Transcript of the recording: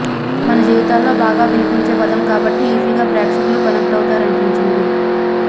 మన జీవితాల్లో బాగా వినిపించే పదం కాబట్టి ఈజీగా ప్రేక్షకులు కనెక్ట్ అవుతారనిపించింది